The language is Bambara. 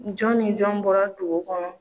Jɔn ni jɔn bɔra dugu kɔnɔ?